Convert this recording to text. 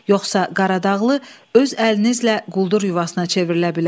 Yoxsa Qaradağlı öz əlinizlə quldur yuvasına çevrilə bilər.